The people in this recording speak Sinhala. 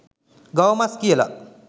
ගව මස් කියලා